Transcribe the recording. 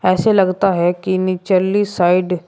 ऐसे लगता है कि निचली साइड --